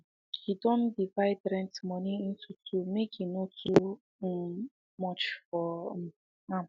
um he done divide rent money into two make em no too um much for um am